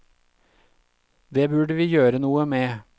Det burde vi gjøre noe med!